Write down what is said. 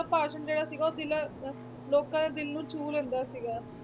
ਭਾਸ਼ਣ ਜਿਹੜਾ ਸੀਗਾ ਉਹ ਦਿਲਾਂ ਅਹ ਲੋਕਾਂ ਦੇ ਦਿਲ ਨੂੰ ਛੂਹ ਲੈਂਦਾ ਸੀਗਾ,